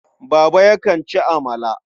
Baba yakan ci amala.